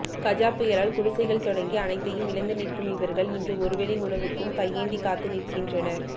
கஜா புயலால் குடிசைகள் தொடங்கி அனைத்தையும் இழந்து நிற்கும் இவர்கள் இன்று ஒருவேளை உணவுக்கும் கையேந்தி காத்து நிற்கின்றனர்